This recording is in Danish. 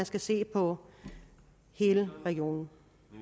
skal ses på hele regionen